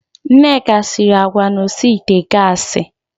Nneka siri agwa na osi ite gassi.